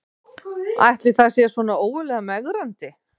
Ætli það sé svona ógurlega megrandi